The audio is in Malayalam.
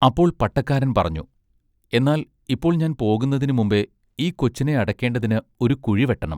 അപ്പോൾ പട്ടക്കാരൻ പറഞ്ഞു “എന്നാൽ ഇപ്പോൾ ഞാൻ പോകുന്നതിന് മുമ്പെ ഈ കൊച്ചിനെ അടക്കേണ്ടതിന് ഒരു കുഴി വെട്ടെണം.